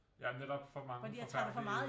Ja men det nok for mange forfærdelige